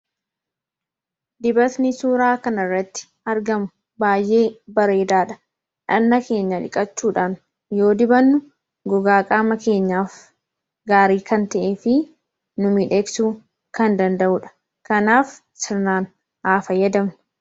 Dibatni suuraa kana irratti argamu baay'ee bareedaa dha. Dhagna keenya dhiqachuudhan yoo dibannu gogaa qaama keenyaaf gaarii kan ta'ee fi nu miidhagsuu kan danda'uu dha. Kanaaf, sirnaan haa fayyadamnu!